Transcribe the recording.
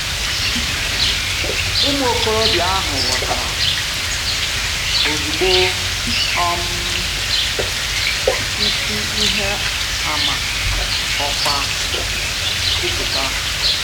Ụmụ okorobịa ahụ ghọtara ozugbo um isi ihe a ma họkwa kwupụta.